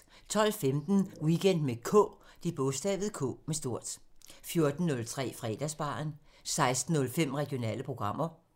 12:15: Weekend med K 14:03: Fredagsbaren 16:05: Regionale programmer